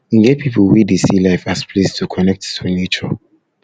e get pipo wey dey see life as place to connect to nature